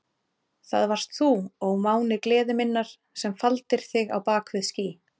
Það varst þú, ó máni gleði minnar, sem faldir þig á bak við ský.